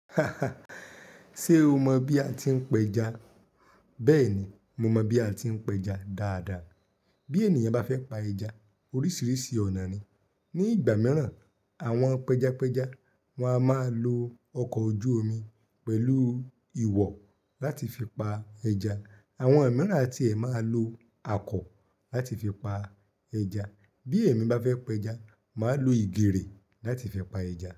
Ṣe o mọ bí a ti ń pẹja? Bẹ́ẹ̀ni, mo mọ bí a ti ń pẹja dáadáa. Bí ènìyàn bá fẹ́ pa ẹja, oríṣiríṣi ọ̀nà ni. Ni ìgbà mìíràn, àwọn pẹjapẹja wáa máa lo ọkọ̀ ojú omi pẹ̀lú ìwọ̀ láti fi pa ẹja. Àwọn mìíràn a ti ẹ máa lo akọ láti fi pa ẹja. Bí èmi bá fẹ́ pẹja, màá lo ìgèrè láti fi pa ẹja.